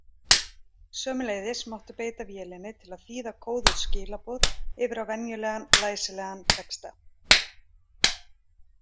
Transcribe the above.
Sömuleiðis mátti beita vélinni til að þýða kóðuð skilaboð yfir á venjulegan læsilegan texta.